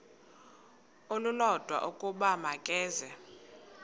olulodwa ukuba makeze